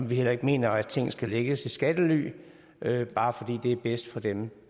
vi heller ikke mener at ting skal lægges i skattely bare fordi det er bedst for dem